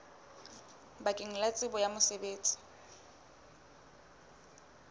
bakeng la tsebo ya mosebetsi